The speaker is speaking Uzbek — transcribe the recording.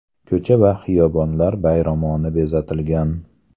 Ko‘cha va xiyobonlar bayramona bezatilgan.